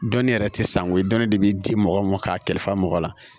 Dɔnni yɛrɛ tɛ sango ye dɔnni de be di mɔgɔ ma k'a kɛli fa mɔgɔ la